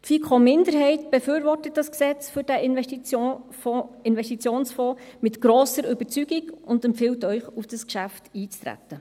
Die FiKo-Minderheit befürwortet das FFsIG mit grosser Überzeugung und empfiehlt Ihnen, auf dieses Geschäft einzutreten.